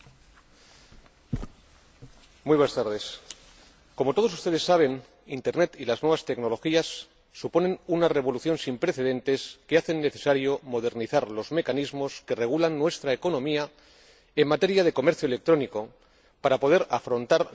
Señor Presidente, como todos ustedes saben, Internet y las nuevas tecnologías suponen una revolución sin precedentes que hace necesario modernizar los mecanismos que regulan nuestra economía en materia de comercio electrónico para poder afrontar los retos que tenemos ante nosotros.